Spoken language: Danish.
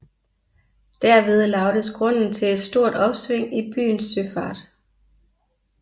Derved lagdes grunden til et stort opsving i byens søfart